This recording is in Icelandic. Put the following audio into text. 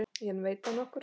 En veit það nokkur?